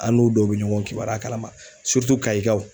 An n'u dɔw be ɲɔgɔn kibaruya kalama kayikaw.